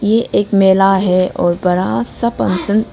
ये एक मेला है और बड़ा सा पंक्शन --